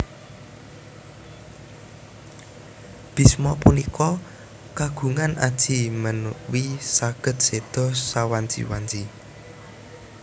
Bhisma punika kagungan aji menwi saged séda sawanci wanci